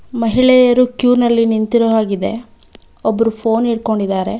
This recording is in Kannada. ಮಹಿಳೆಯರು ಕ್ಯೂ ನಲ್ಲಿ ನಿಂತಿರೋ ಹಾಗಿದೆ ಒಬ್ರು ಫೋನ್ ಇಟ್ಕೊಂಡಿದ್ದಾರೆ.